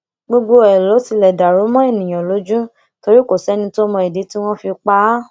gbogbo ẹ ló tilẹ dàrú mọ èèyàn lójú torí kò sẹni tó mọ ìdí tí wọn fi pa á